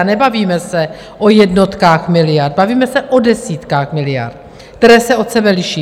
A nebavíme se o jednotkách miliard, bavíme se o desítkách miliard, které se od sebe liší.